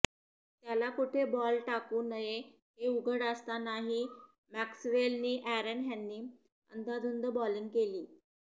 त्याला कुठे बॉल टाकू नये हे उघड असतानाही मॅक्स्वेल नि अॅरन ह्यांनी अंदाधुंद बॉलिंग केली